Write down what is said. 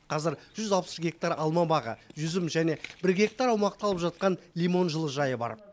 қазір жүз алпыс гектар алма бағы жүзім және бір гектар аумақты алып жатқан лимон жылыжайы бар